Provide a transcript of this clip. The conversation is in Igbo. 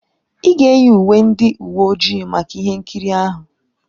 Ị ga-eyi uwe ndị uwe ojii maka ihe nkiri ahụ.